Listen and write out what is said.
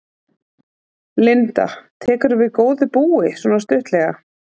Linda: Tekurðu við góðu búi, svona stuttlega?